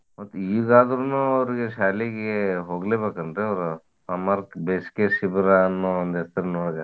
ಮತ್ತ್ ಈಗಾದ್ರುನು ಅವ್ರಿಗೆ ಶಾಲಿಗಿ ಹೋಗ್ಲೇ ಬೇಕ ಏನ್ರೀ ಅವ್ರ್ summer ಕ್ ಬೇಸಿಗೆ ಶಿಬಿರ ಅನ್ನೋ ಒಂದ್ ಹೆಸ್ರಿನೊಳಗ?